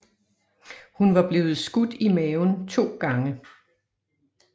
Hun var blevet skudt i maven 2 gange